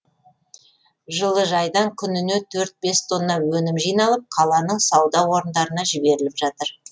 жылыжайдан күніне төрт бес тонна өнім жиналып қаланың сауда орындарына жіберіліп жатыр